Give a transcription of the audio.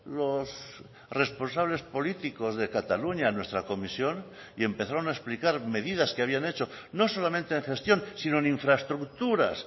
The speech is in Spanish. los responsables políticos de cataluña a nuestra comisión y empezaron a explicar medidas que habían hecho no solamente en gestión sino en infraestructuras